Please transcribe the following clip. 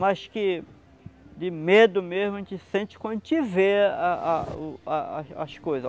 Mas que de medo mesmo a gente sente quando a gente vê a a o a a as coisa.